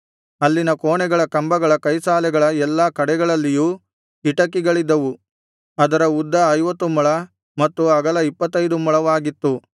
ಅಲ್ಲಿನ ಕೋಣೆಗಳ ಕಂಬಗಳ ಕೈಸಾಲೆಗಳ ಎಲ್ಲಾ ಕಡೆಗಳಲ್ಲಿಯೂ ಕಿಟಕಿಗಳಿದ್ದವು ಅದರ ಉದ್ದ ಐವತ್ತು ಮೊಳ ಮತ್ತು ಅಗಲ ಇಪ್ಪತ್ತೈದು ಮೊಳವಾಗಿತ್ತು